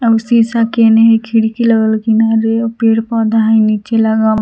एगो शीशा के एने हइ खिड़की लगल किनारे पेड़ पौधा नीचे लगल --